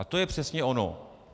A to je přesně ono.